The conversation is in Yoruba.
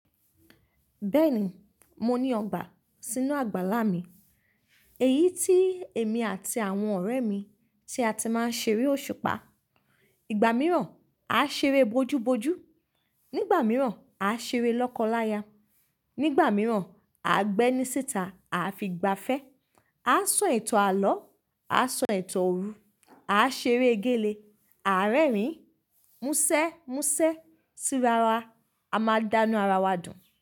Bẹ́ẹ̀ni, mo ní ọgbà sínú àgbàlá mi, èyí tí èmi àti àwọn ọ̀rẹ́ mi tí a ti máa ń ṣeré òṣùpá. Ìgbà mìíràn a ṣeré bojúbojú, nígbà mìíràn a ṣeré lọ́kọláya, nígbà mìíràn à ń gbé ẹní síta, aa fi gbafẹ́, a sọ ìtàn àlọ́, a sọ ìtàn òru, a ṣeré gélé, àárẹ́ẹ̀rin, musẹ́musẹ́, sí rawa, a máa dánu ara wa dùn.